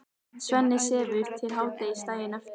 Svenni sefur til hádegis daginn eftir.